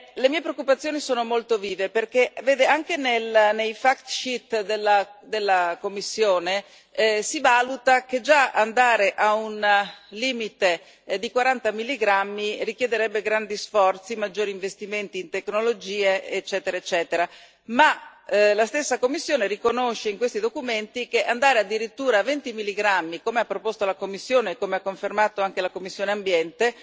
Le mie preoccupazioni sono molto vive perché anche nei fact sheet della Commissione si valuta che già andare a un limite di 40 milligrammi richiederebbe grandi sforzi e maggiori investimenti in tecnologie, eccetera eccetera, ma la stessa Commissione riconosce in questi documenti che andare addirittura a 20 milligrammi, come ha proposto la Commissione e come ha confermato anche la commissione Ambiente,